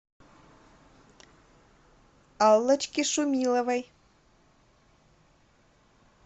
аллочке шумиловой